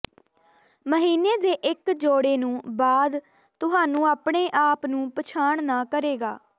ਮਹੀਨੇ ਦੇ ਇੱਕ ਜੋੜੇ ਨੂੰ ਬਾਅਦ ਤੁਹਾਨੂੰ ਆਪਣੇ ਆਪ ਨੂੰ ਪਛਾਣ ਨਾ ਕਰੇਗਾ